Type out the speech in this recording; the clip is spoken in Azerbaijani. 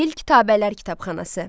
Gil kitabələr kitabxanası.